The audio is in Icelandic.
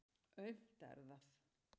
Aumt er það.